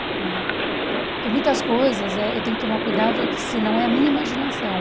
Né? Porque muitas coisas eh eu tenho que tomar cuidado que se não é a minha imaginação.